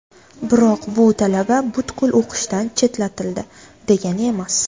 Biroq bu talaba butkul o‘qishdan chetlatildi degani emas.